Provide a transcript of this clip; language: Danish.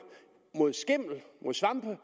mod skimmel mod svampe